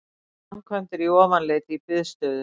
Framkvæmdir í Ofanleiti í biðstöðu